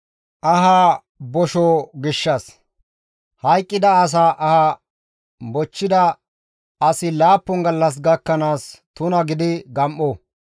«Hayqqida asa aha bochchida asi laappun gallas gakkanaas tuna gidi gam7o.